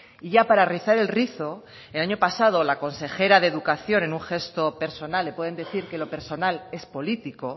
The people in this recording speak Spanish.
y ya para rizar el rizo el año pasado la consejera de educación en un gesto personal pueden decir que lo personal es político